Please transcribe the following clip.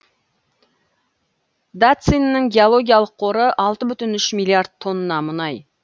дацинның геологиялық қоры алты бүтін үш миллиард тонна мұнай